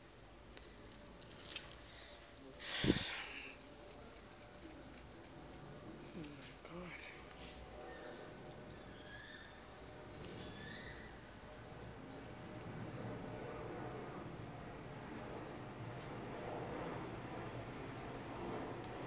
mahata e le marabe ya